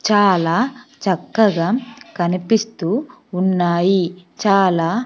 చాలా చక్కగా కనిపిస్తూ ఉన్నాయి చాలా.